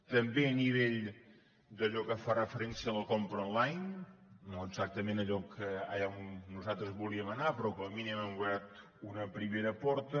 també a nivell d’allò que fa referència a la compra onlineallà on nosaltres volíem anar però com a mínim hem obert una primera porta